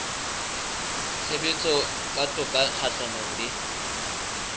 tshebetso tsa toka kgahlanong le